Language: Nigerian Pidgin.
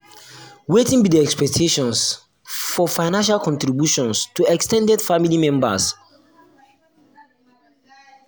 wetin be di expectations for di expectations for financial contributions to ex ten ded family members?